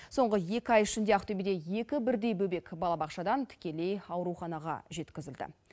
соңғы екі ай ішінде ақтөбеде екі бірдей бөбек балабақшадан тікелей ауруханаға жеткізілді